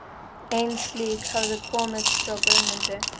Ein slík hafði komið frá Guðmundi